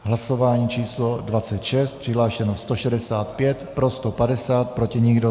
Hlasování číslo 26, přihlášeno 165, pro 150, proti nikdo.